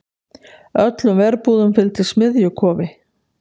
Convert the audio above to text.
Öllum verbúðum fylgdi smiðjukofi.